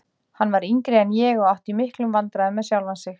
Hann var yngri en ég og átti í miklum vandræðum með sjálfan sig.